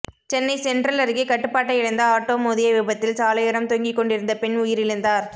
Chennai central அருகே கட்டுப்பாட்டை இழந்த ஆட்டோ மோதிய விபத்தில் சாலையோரம் தூங்கி கொண்டிருந்த பெண் உயிரிழந்தார்